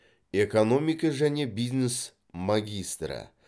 экономика және бизнес магистрі